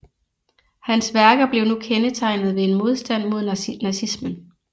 Hans værker blev nu kendetegnet ved en modstand mod nazismen